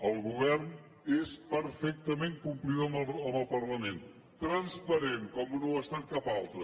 el govern és perfectament complidor amb el parlament transparent com no ho ha estat cap altre